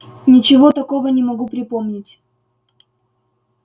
ничего такого не могу припомнить